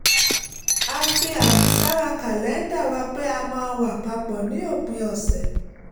a fi àmì sára kàlẹ́ńdà wa pé a máa wà pa pọ̀ ní òpin ọ̀sẹ̀